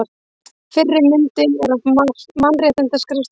Fyrri myndin er af Mannréttindaskrifstofu Íslands.